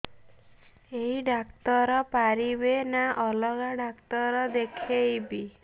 ଏଇ ଡ଼ାକ୍ତର ପାରିବେ ନା ଅଲଗା ଡ଼ାକ୍ତର ଦେଖେଇବି